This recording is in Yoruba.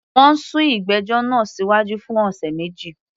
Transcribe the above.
Wọ́n sún ìgbẹ́jọ́ náà síwájú fún ọ̀sẹ̀ méjì